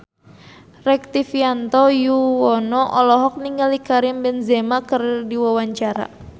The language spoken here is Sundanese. Rektivianto Yoewono olohok ningali Karim Benzema keur diwawancara